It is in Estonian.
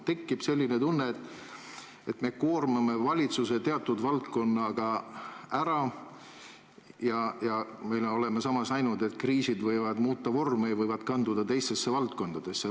Tekib selline tunne, et me koormame valitsuse teatud valdkonnaga ära, ja oleme samas näinud, et kriisid võivad muuta vormi ja võivad kanduda teistesse valdkondadesse.